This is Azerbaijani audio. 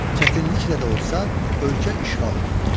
Çətinliklə də olsa, ölkə işğal olundu.